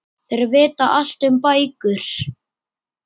Þeir vita allt um bækur.